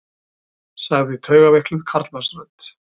sagði taugaveikluð karlmannsrödd.